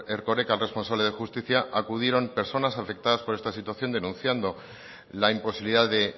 erkoreka el responsable de justicia acudieron personas afectadas por esta situación denunciando la imposibilidad de